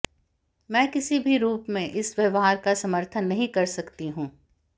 मैं किसी भी रूप में इस व्यवहार का समर्थन नहीं कर सकती हूं